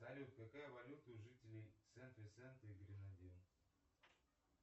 салют какая валюта у жителей сент винсент и гренадин